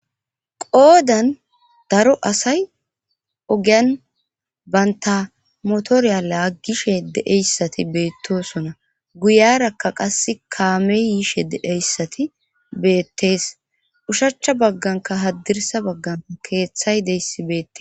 Qoodan daro asay ogiyan baynta motoriyala aggishe deeyssati beettosona guyarakka qasse kaame yiishe deeyssati beettees ushachcha bagganka haddirsa baggan keeththay deyssi beette.